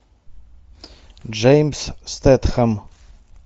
джеймс стэтхэм